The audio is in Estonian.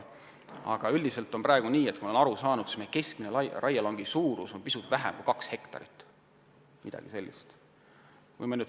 Aga üldiselt on praegu nii – nagu ma olen aru saanud –, et keskmine raielangi suurus on pisut vähem kui 2 hektarit, midagi sellist.